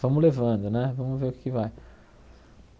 Vamos levando né, vamos ver o que é que vai.